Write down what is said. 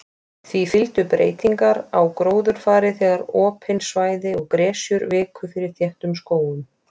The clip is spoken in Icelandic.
Því fylgdu breytingar á gróðurfari þegar opin svæði og gresjur viku fyrir þéttum skógum.